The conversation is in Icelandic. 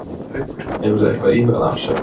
Haukur: Hefurðu eitthvað íhugað afsögn?